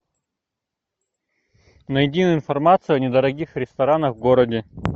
найди информацию о недорогих ресторанах в городе